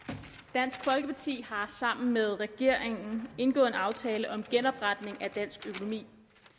dansk folkeparti har sammen med regeringen indgået en aftale om genopretning af dansk økonomi